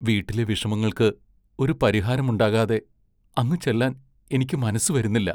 വീട്ടിലെ വിഷമങ്ങൾക്ക് ഒരു പരിഹാരം ഉണ്ടാകാതെ അങ്ങു ചെല്ലാൻ എനിക്കു മനസ്സു വരുന്നില്ല.